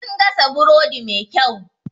Sun gasa burodi mai kyau.